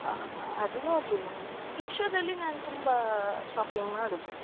ಹಾ ಹಾ ಅದು ನೋಡ್ಲಿಲ್ಲ ನಾನು Meesho ಅಲ್ಲಿ ನಾನು ತುಂಬಾ shopping ಮಾಡುದು.